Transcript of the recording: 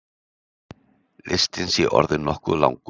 Listinn sé orðinn nokkuð langur.